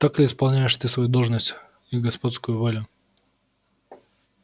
так ли исполняешь ты свою должность и господскую волю